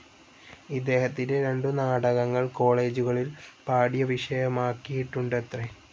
ഇദ്ദേഹത്തിന്റെ രണ്ടു നാടകങ്ങൾ കോളേജുകളിൽ പാഠ്യവിഷയമാക്കിയിട്ടുണ്ടത്രേ.